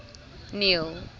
neil